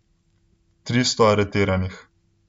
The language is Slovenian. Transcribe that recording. Tristo aretiranih.